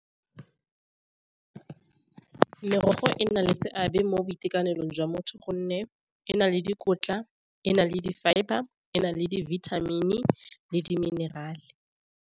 Merogo e nna le seabe mo boitekanelong jwa motho gonne e na le dikotla e na le di fibre e na le dibithamini le di minerale.